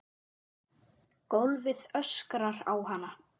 Gólfið öskrar á hana.